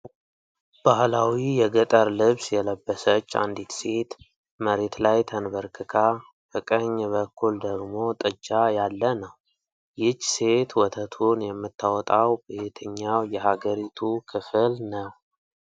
ባህላዊ የገጠር ልብስ የለበሰች አንዲት ሴት፣ መሬት ላይ ተንበርክካ፣ በቀኝ በኩል ደግሞ ጥጃ ያለ ነው። ይህች ሴት ወተቱን የምታወጣው በየትኛው የሀገሪቱ ክፍል ነው?